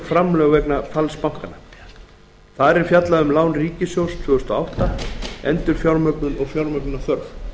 framlög vegna falls bankanna þar er fjallað um lán ríkissjóðs tvö þúsund og átta endurfjármögnun og fjármögnunarþörf